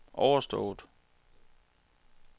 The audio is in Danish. overstået